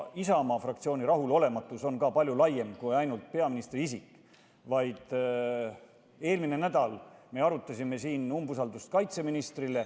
Isamaa fraktsiooni rahulolematus on palju laiem kui ainult peaministri isik, näiteks eelmine nädal me arutasime siin kaitseministri umbusaldamist.